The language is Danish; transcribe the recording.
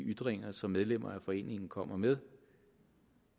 de ytringer som medlemmer af foreningen kommer med